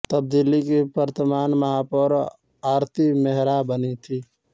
तब दिल्ली की वर्तमान महापौर आरती मेहरा बनीं थीं